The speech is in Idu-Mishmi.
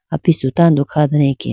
apisu tando kha dane akeya.